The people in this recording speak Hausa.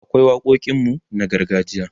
akwai waƙoƙin mu na gargajiya